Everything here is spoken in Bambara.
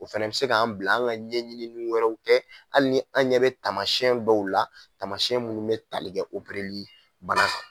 O fɛnɛ bɛ se k'an bila an ka ɲɛɲini wɛrɛ kɛ hali ni an ɲɛ bɛ tamasiɛn dow la tamasiɛn munnu bɛ talikɛ opereli bana kan.